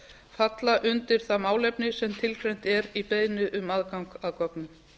falla undir það málefni sem tilgreint er um beiðni um aðgang að gögnum